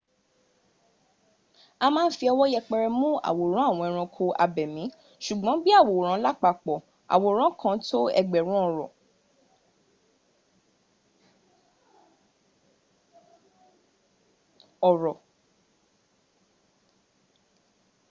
a ma ń fi ọwọ́ yẹpẹrẹ mún àwòrán àwọn ẹranko abẹ̀mí sùgbọ́n bí i àwòrán lápapọ̀ àwòrán kan tó ẹgbẹ̀rún ọ̀rọ̀